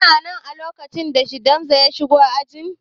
Kana nan a lokacin da shedimasta ya shigo ajin?